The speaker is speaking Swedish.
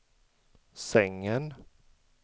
sängen